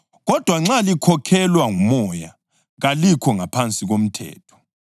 Kodwa nxa likhokhelwa nguMoya, kalikho ngaphansi komthetho.